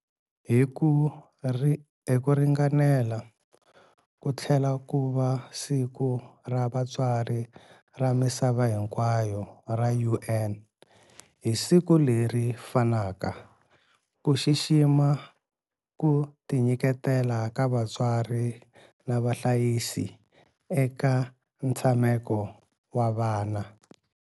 Hi ku ringanela, ku tlhela ku va Siku ra Vatswari ra Misava Hinkwayo ra UN hi siku leri fanaka, ku xixima ku tinyiketela ka vatswari na vahlayisi eka ntshameko wa vana.